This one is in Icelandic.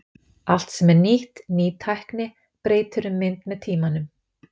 Allt sem er nýtt, ný tækni, breytir um mynd með tímanum.